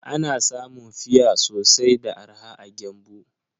Ana samun fia sosai da arha a Gembu.